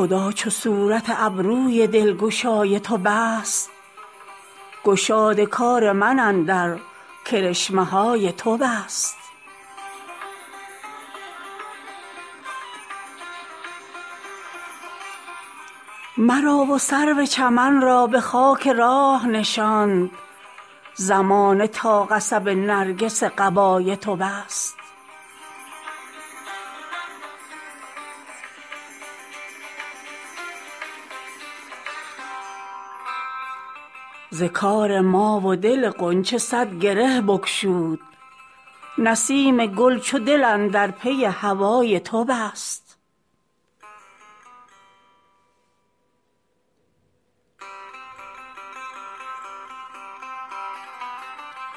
خدا چو صورت ابروی دلگشای تو بست گشاد کار من اندر کرشمه های تو بست مرا و سرو چمن را به خاک راه نشاند زمانه تا قصب نرگس قبای تو بست ز کار ما و دل غنچه صد گره بگشود نسیم گل چو دل اندر پی هوای تو بست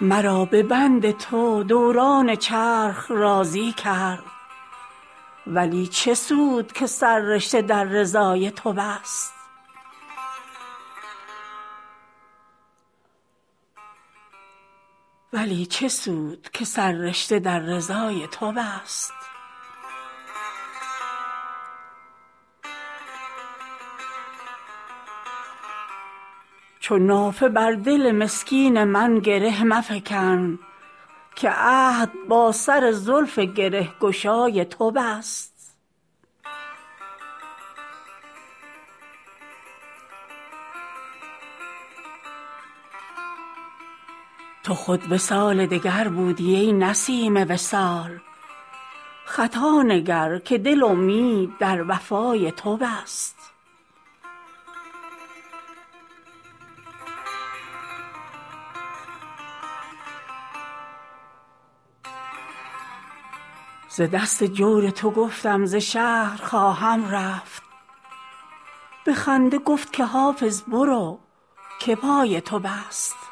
مرا به بند تو دوران چرخ راضی کرد ولی چه سود که سررشته در رضای تو بست چو نافه بر دل مسکین من گره مفکن که عهد با سر زلف گره گشای تو بست تو خود وصال دگر بودی ای نسیم وصال خطا نگر که دل امید در وفای تو بست ز دست جور تو گفتم ز شهر خواهم رفت به خنده گفت که حافظ برو که پای تو بست